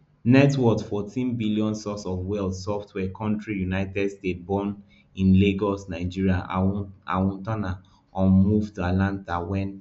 net worthfourteen billion source of wealth software country united states born in lagos nigeria awotona um move to atlanta wen